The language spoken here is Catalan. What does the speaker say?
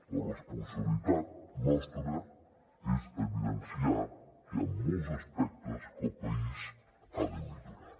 la responsabilitat nostra és evidenciar que hi han molts aspectes que el país ha de millorar